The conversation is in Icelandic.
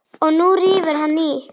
Og nú rífur hann í.